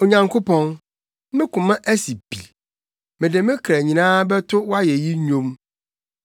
Onyankopɔn, me koma asi pi; mede me kra nyinaa bɛto wʼayeyi nnwom.